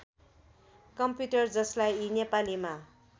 computer जसलाई नेपालीमा